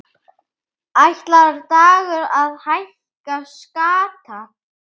Ætlar Dagur að hækka skatta?